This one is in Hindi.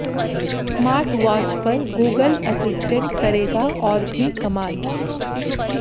स्मार्ट वाच पर गूगल असिस्टेंट करेगा और भी कमाल